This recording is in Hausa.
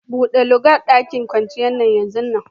Bude lugan daƙin kwanciyar yanzun nan!